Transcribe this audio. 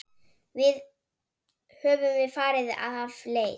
Höfum við farið af leið?